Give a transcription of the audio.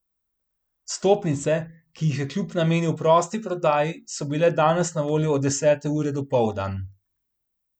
Vstopnice, ki jih je klub namenil prosti prodaji, so bile danes na voljo od desete ure dopoldan.